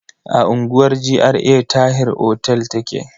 A unguwar GRA Tahir otel take.